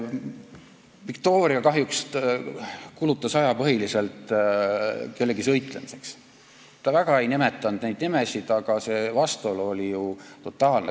Viktoria kahjuks kulutas aja põhiliselt kellegi sõitlemiseks, ta väga ei nimetanud neid nimesid, aga see vastuolu oli ju totaalne.